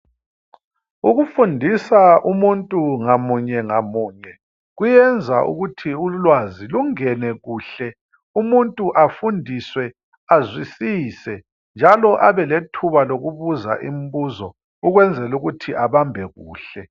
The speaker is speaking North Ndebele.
ukufundisa umuntu ngamunye ngamunye kuyenza ukuthi ulwazi lungene kuhle umuntu afundiswe azwisise njalo abe lethuba lokubuza ibizo ukwenzela ukuthi abambe kuhle